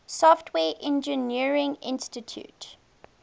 software engineering institute